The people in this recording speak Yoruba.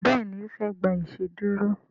Béèni ofe gbà iṣeduro.